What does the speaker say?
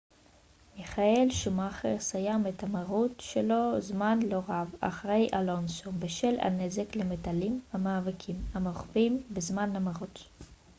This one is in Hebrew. מיכאל שומאכר סיים את המרוץ שלו זמן לא רב אחרי אלונסו בשל הנזק למתלים במאבקים המרובים בזמן המרוץ